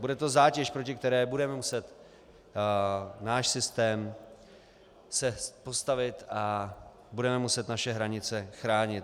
Bude to zátěž, proti které bude muset náš systém se postavit a budeme muset naše hranice chránit.